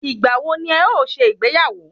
Ìgbà wo ni ẹ o ṣe ìgbéyàwó?